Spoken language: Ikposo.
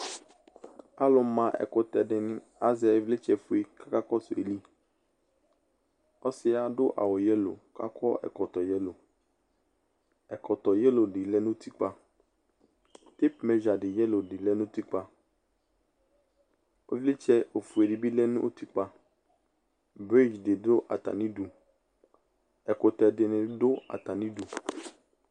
Alʋma ɛkʋtɛ di ni azɛ ivlitsɛ fue kʋ akakɔsʋ ayili Ɔsi yɛ adʋ awʋ yɛlo kʋ akɔ ɛkɔtɔ yɛlo Ɛkɔtɔ yɛlo di lɛ nʋ utikpa Teipʋ mɛzia yɛlo di lɛ nʋ utikpa Ivlitsɛ ofue di bi lɛ nʋ utikpa Bridzi di dʋ atami idu Ɛkʋtɛ di ni dʋ atami idu